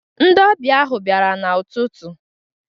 Ndị ọbịa ahụ bịara n'ututu.